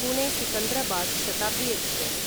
Pune Secunderabad Shatabdi express